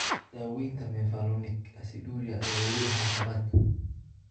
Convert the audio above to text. Daaweynta mevalonic aciduria ayaa weli ah caqabad.